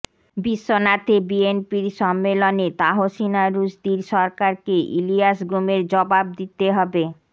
বিশ্বনাথে বিএনপির সম্মেলনে তাহসিনা রুসদীর সরকারকে ইলিয়াস গুমের জবাব দিতে হবে